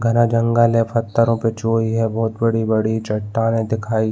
घना जंगल है पथरों पे छुई है बहुत बड़ी-बड़ी चटाने दिखाई --